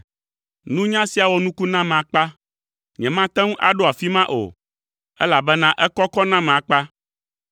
Nunya sia wɔ nuku nam akpa, nyemate ŋu aɖo afi ma o, elabena ekɔkɔ nam akpa.